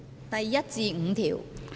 第1至5條。